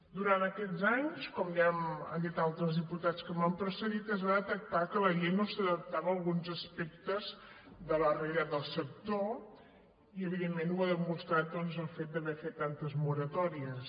durant aquests anys com ja han dit altres diputats que m’han precedit es va detectar que la llei no s’adaptava a alguns aspectes de la realitat del sector i evidentment ho ha demostrat doncs el fet d’haver ne fet tantes moratòries